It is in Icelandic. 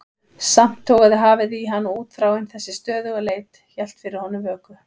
Samt togaði hafið í hann og útþráin, þessi stöðuga leit, hélt fyrir honum vöku.